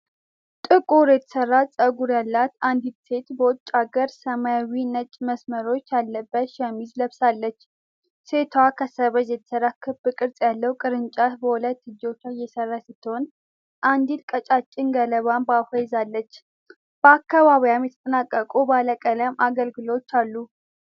ጥቁር የተሠራ ፀጉር ያላት አንዲት ሴት በውጭ አገር የሰማያዊና ነጭ መስመሮች ያለበትን ሸሚዝ ለብሳለች። ሴቷ ከሰበዝ የተሠራ ክብ ቅርጽ ያለው ቅርጫት በሁለት እጆቿ እየሰራች ስትሆን፣ አንዲት ቀጫጭን ገለባም በአፏ ይዛለች። በአካባቢዋ የተጠናቀቁ ባለቀለም አገልግሎች አሉ።